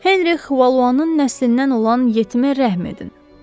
Henri Valuanın nəslindən olan yetimə rəhm edin.